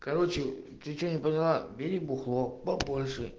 короче ты что нибудь поняла бери бухло побольше